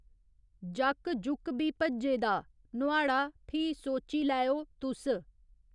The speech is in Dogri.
जाक्क जुक्क बी भज्जे दा नुहाड़ा फ्ही सोची लैएओ तुस